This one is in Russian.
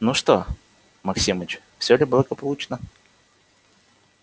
ну что максимыч все ли благополучно